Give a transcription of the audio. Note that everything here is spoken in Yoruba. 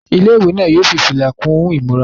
Ilé-ìwé náà yóò fi fìlà kún ìmúra wọn.